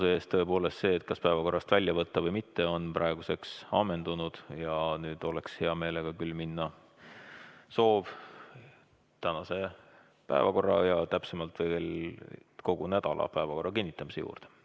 Tõepoolest see, kas päevakorrast välja võtta või mitte, on praeguseks ammendunud ja nüüd oleks mul küll soov minna tänase päevakorra ja täpsemalt kogu nädala päevakorra kinnitamise juurde.